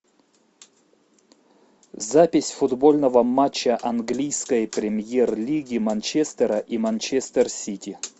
запись футбольного матча английской премьер лиги манчестера и манчестер сити